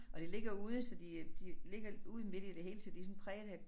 Og det ligger ude så de de ligger ude midt i det hele så de sådan præget af